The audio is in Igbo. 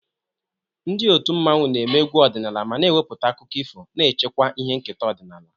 Ndị otu mmanwu na-eme egwu ọdịnala ma na-ewepụta akụkọ ifo, na-echekwa ihe nketa ọdịnala.